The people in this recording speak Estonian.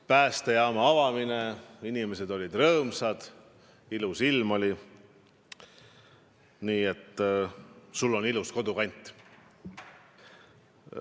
Päästejaama avamine, inimesed olid rõõmsad, ilm oli ilus – sul on ilus kodukant.